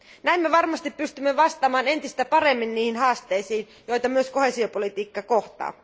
Näin me varmasti pystymme vastaamaan entistä paremmin niihin haasteisiin, joita myös koheesiopolitiikka kohtaa.